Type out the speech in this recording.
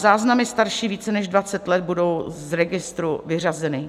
Záznamy starší více než 20 let budou z registru vyřazeny.